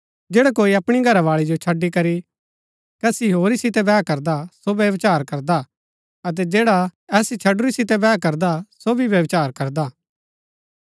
जैडा कोई अपणी घरावाळी जो छड़ी करी कसी होरी सितै बैह करदा ता सो व्यभिचार करदा हा अतै जैडा ऐसी छडुरी सितै बैह करदा सो भी व्यभिचार करदा